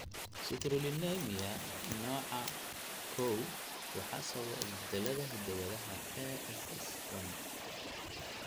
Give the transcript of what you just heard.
Citrullinemia nooca I waxaa sababa isbeddellada hidda-wadaha ASS1.